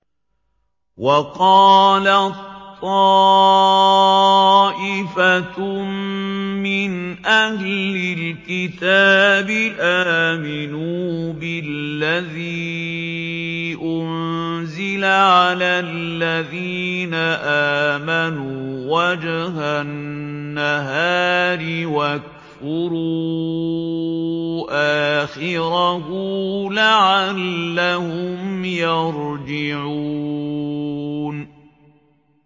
وَقَالَت طَّائِفَةٌ مِّنْ أَهْلِ الْكِتَابِ آمِنُوا بِالَّذِي أُنزِلَ عَلَى الَّذِينَ آمَنُوا وَجْهَ النَّهَارِ وَاكْفُرُوا آخِرَهُ لَعَلَّهُمْ يَرْجِعُونَ